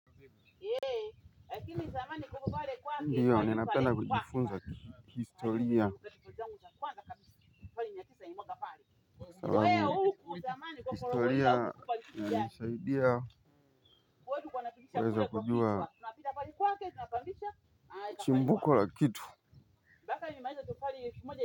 Ndiyo ninapenda kujifunza historia. Sababu historia inanisaidia kuweza kujua chimbuko la kitu.